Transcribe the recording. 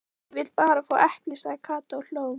Nei, ég vil bara fá epli sagði Kata og hló.